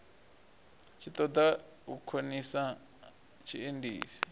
tshi ṱoḓa u khonisa tshiendisi